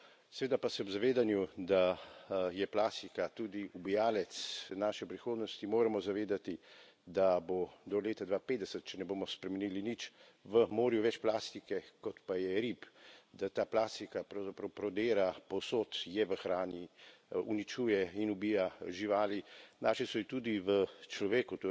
Seveda pa se ob zavedanju, da je plastika tudi ubijalec naše prihodnosti, moramo zavedati, da bo do leta 2050, če ne bomo spremenili nič, v morju več plastike, kot pa je rib, da ta plastika, pravzaprav, prodira povsod, je v hrani, uničuje in ubija živali, našli so jo tudi v človeku.